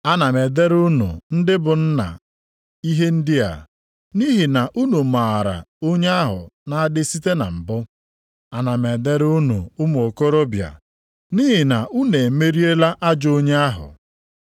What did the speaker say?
Ana m edere unu ndị bụ nna ihe ndị a, nʼihi na unu maara onye ahụ na-adị site na mbụ. Ana m edere unu ụmụ okorobịa, nʼihi na unu emeriela ajọ onye ahụ.